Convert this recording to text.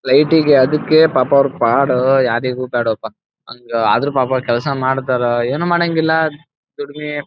light ಇಗೆ ಅದಿಕ್ಕೆ ಪಾಪ ಅವರ ಪಾಡ ಯಾರಿಗೂ ಬೇಡಪ್ಪಾ ಹಂಗ ಆದರೂ ಪಾಪ ಕೆಲಸ ಮಾಡ್ತಾರಾ ಏನು ಮಾಡಂಗಿಲ್ಲ ದುಡಿಮೆ--